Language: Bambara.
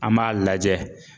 An b'a lajɛ